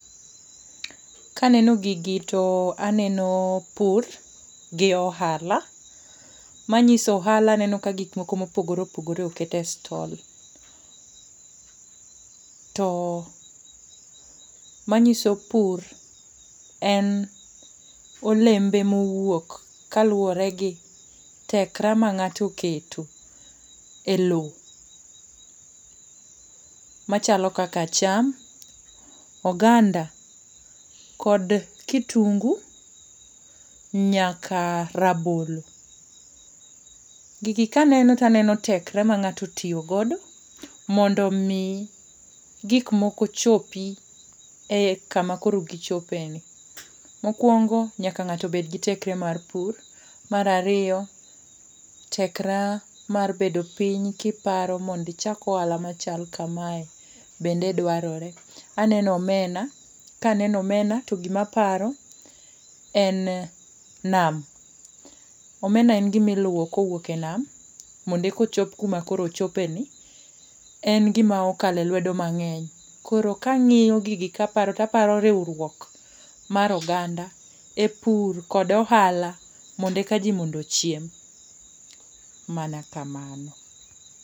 Kaneno gigi to aneno pur gi ohala manyiso ohala aneno ka gik moko mopogore opogore oket e stall. To manyiso pur en olembe mowuok kaluwore gi tekre ma ng'ato oketo e lowo machalo kaka cham, oganda kod kitungu nyaka rabolo. Gigi kaneno taneno tekra ma ng'ato otiyo godo mondo omi gik moko chopi e kama koro gichopeni. Mokwongo, nyaka ng'ato bedgi tekre mar pur, mar ariyo, tekre mar bedo piny kiparo mondo ichak ohala machal kame. Bende dwarore. Aneno omena, kaneno omena to gimaparo en nam. Omena en gimi luwo kowuok e nam mondo eka ochop kuma koro ochopeni. En gima okalo e lwedo mang'eny. Koro kang'iyo gigi kaparo ,to aparo riwruok mar oganda,e pur kod ohala mondo eka ji mondo ochiem.